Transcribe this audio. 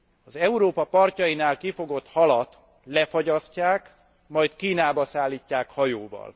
Az Európa partjainál kifogott halat lefagyasztják, majd Kínába szállítják hajóval.